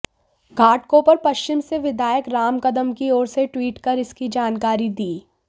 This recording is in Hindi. घाटकोपर पश्चिम से विधायक राम कदम की ओर से ट्वीट कर इसकी जानकारी दी